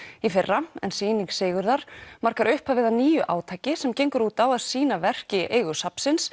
í fyrra en sýning Sigurðar markar upphafið að nýju átaki sem gengur út á að sýna verk í eigu safnsins